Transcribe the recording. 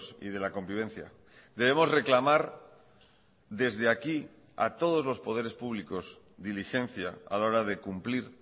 y de la convivencia debemos reclamar desde aquí a todos los poderes públicos diligencia a la hora de cumplir